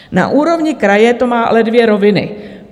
Na úrovni kraje to má ale dvě roviny.